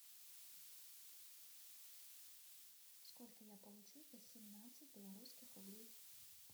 сколько я получу за семнадцать белорусских рублей